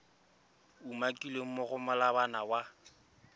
umakilweng mo go molawana wa